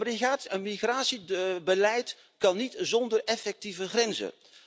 Een migratiebeleid kan niet zonder effectieve grenzen.